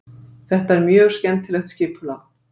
Þetta er mjög skemmtilegt skipulag.